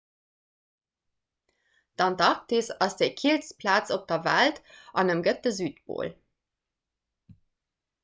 d'antarktis ass déi killst plaz op der welt an ëmgëtt de südpol